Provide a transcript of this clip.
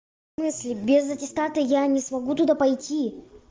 в смысли я без аттестата я не смогу туда пойти